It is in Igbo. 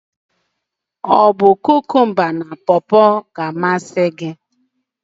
Ọ bu kụkụmba ka pọpọ na-amasị gi?